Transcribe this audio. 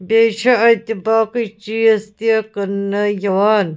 .بیٚیہِ چھ اَتہِ باقےٕچیٖزتہِ کٔننہٕ یِوان